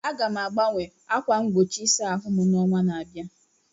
Aga m agbanwe ákwà mgbochi ịsa ahụ m n'ọnwa na-abịa.